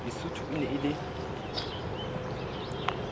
lesotho e ne e le